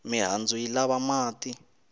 mihandzu yi lava mati